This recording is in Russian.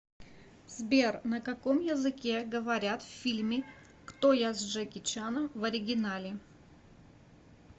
сбер на каком языке говорят в фильме кто я с джеки чаном в оригинале